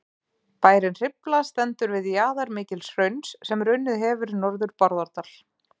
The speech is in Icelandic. bærinn hrifla stendur við jaðar mikils hrauns sem runnið hefur norður bárðardal